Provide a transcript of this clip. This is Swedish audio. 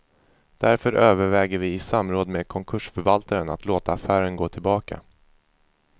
Därför överväger vi i samråd med konkursförvaltaren att låta affären gå tillbaka.